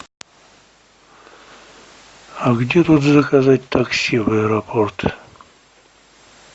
а где тут заказать такси в аэропорт